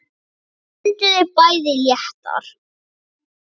Þau önduðu bæði léttar.